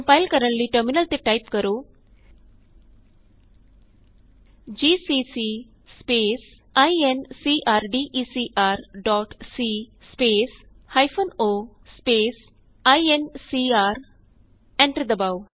compile ਕਰਨ ਲਈ terminal ਤੇ ਟਾਈਪ ਕਰੋ GCC space incrdecr dot c space minus o space INCR ਅਤੇ ਐਂਟਰ ਦਬਾਉ